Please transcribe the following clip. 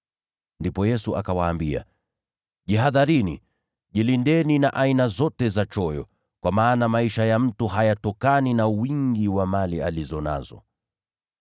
Ndipo Yesu akawaambia, “Jihadharini! Jilindeni na aina zote za choyo. Kwa maana maisha ya mtu hayatokani na wingi wa mali alizo nazo.”